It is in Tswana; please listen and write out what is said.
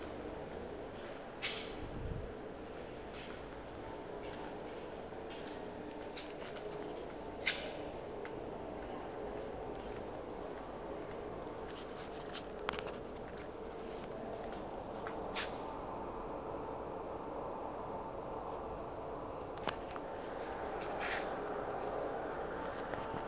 tlhokang go se dira fa